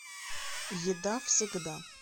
еда всегда